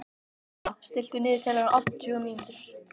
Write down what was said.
Úlla, stilltu niðurteljara á áttatíu mínútur.